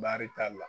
Baarita la